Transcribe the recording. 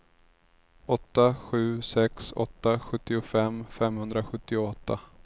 åtta sju sex åtta sjuttiofem femhundrasjuttioåtta